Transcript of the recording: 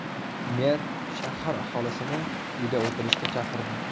Mer shahar aholisini uyda o‘tirishga chaqirdi.